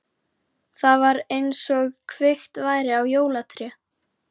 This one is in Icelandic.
Það var einsog kveikt væri á jólatré.